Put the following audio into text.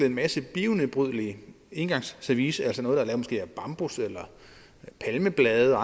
en masse bionedbrydeligt engangsservice altså noget der måske er lavet af bambus eller palmeblade